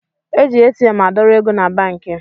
E ji ATM adọrọ ego na banki